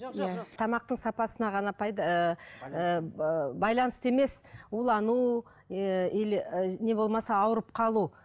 жоқ жоқ жоқ тамақтың сапасына ғана ыыы байланысты емес улану ііі или не болмаса ауырып қалу